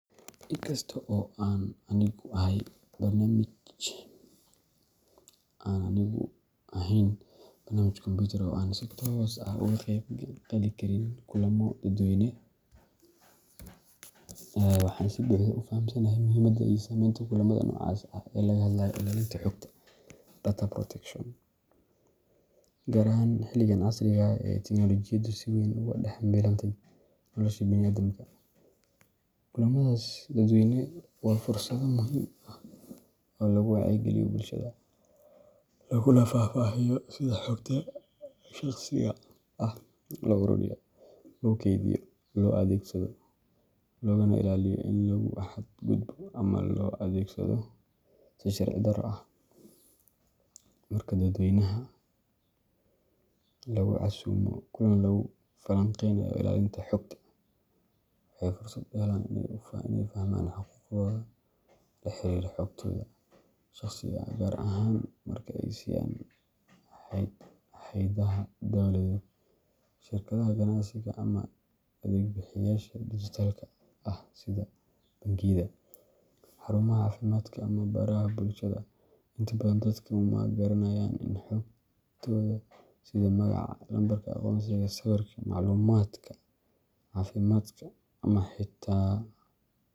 Inkastoo aan anigu ahayn barnaamij kombuyuutar oo aan si toos ah uga qayb geli karin kulamo dadweyne, waxaan si buuxda u fahamsanahay muhiimadda iyo saameynta kulamada noocaas ah ee looga hadlayo ilaalinta xogta data protection ,gaar ahaan xilligan casriga ah ee tiknoolajiyadu si weyn ugu dhex milantay nolosha bini’aadamka. Kulamadaas dadweyne waa fursado muhiim ah oo lagu wacyi-geliyo bulshada, laguna faahfaahiyo sida xogta shakhsiga ah loo ururiyo, loo kaydiyo, loo adeegsado, loogana ilaaliyo in lagu xad-gudbo ama loo adeegsado si sharci-darro ah. Marka dadweynaha lagu casuumo kulan lagu falanqeynayo ilaalinta xogta, waxay fursad u helaan in ay fahmaan xuquuqahooda la xiriira xogtooda shakhsiga ah, gaar ahaan marka ay siiyaan hay’adaha dawladeed, shirkadaha ganacsiga, ama adeeg-bixiyeyaasha dijitaalka ah sida bangiyada, xarumaha caafimaadka, ama baraha bulshada. Inta badan dadku ma garanayaan in xogtooda, sida magaca, lambarka aqoonsiga, sawirka, macluumaadka caafimaadka, ama xitaa.